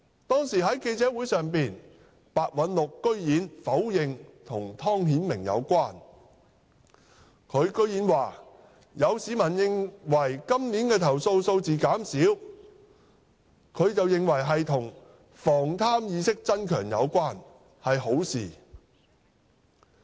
當時在記者會上白韞六居然否認與湯顯明有關，他竟然說"有市民認為今年的投訴數字減少可能與防貪意識增強有關，是好事"。